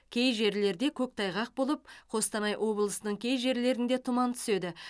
кей жерлерде көктайғақ болып қостанай облысының кей жерлерінде тұман түседі